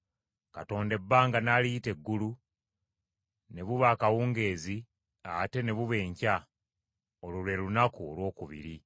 Katonda ebbanga n’aliyita eggulu. Ne buba akawungeezi, ate ne buba enkya, olwo lwe lunaku olwokubiri.